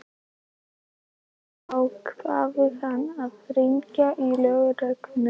Loks ákvað hann að hringja í lögregluna.